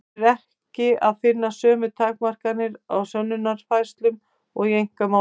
Þar er ekki að finna sömu takmarkanir á sönnunarfærslu og í einkamálum.